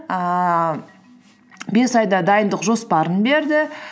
ііі бес айда дайындық жоспарын берді